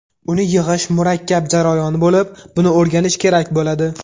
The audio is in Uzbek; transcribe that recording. Uni yig‘ish murakkab jarayon bo‘lib, buni o‘rganish kerak bo‘ladi.